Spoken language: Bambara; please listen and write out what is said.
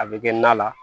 A bɛ kɛ na la